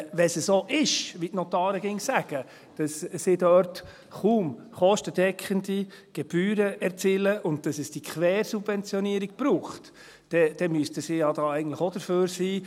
Wenn es so ist, wie die Notare immer sagen, dass sie dort kaum kostendeckende Gebühren erzielen und dass es diese Quersubventionierung braucht, dann müssten sie ja eigentlich auch dafür sein.